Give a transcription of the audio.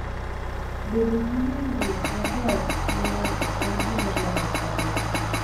Bedo gi winjruok maber gi ng'ato en gima dwarore ahinya.